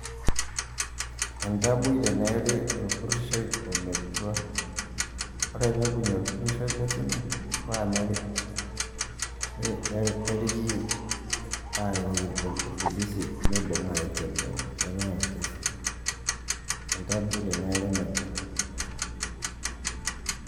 entaboi teneri orpurishoi ometua ,ore pee ibung'i orpurishoi lesimu mpaka neeri neri arikoki il polisi mibung'a aikenoo, pee enyai orkesi entaboi teneeri metua.